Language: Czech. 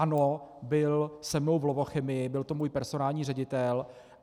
Ano, byl se mnou v Lovochemii, byl to můj personální ředitel.